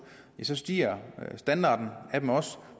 stiger standarden af dem også